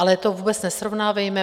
Ale to vůbec nesrovnávejme.